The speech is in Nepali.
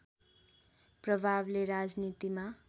प्रभावले राजनीतिमा